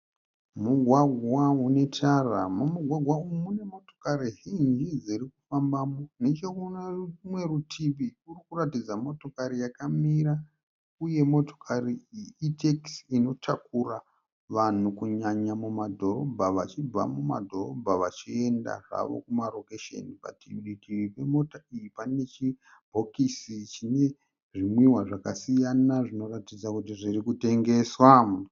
Mugwagwa une tara. Mumugwagwa umu mune motokari zhinji dziri kufambamo neche kune rumwe rutivi kuri kuratidza motokari yakamira uye motokari iyi itekisi inotakura vanhu kunyanya kumadhorobha, vachibva mumadhorobha vachienda havo kumarokesheni. Padivi pemotokari pane chibhokisi chine zvimwiwa zvakasiyana zvinoratidza kuti zviri kutengeswa.